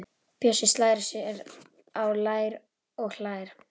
Bjössi slær sér á lær og hlær.